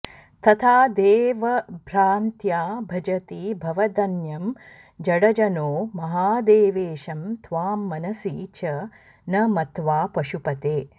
तथा देवभ्रान्त्या भजति भवदन्यं जडजनो महादेवेशं त्वां मनसि च न मत्वा पशुपते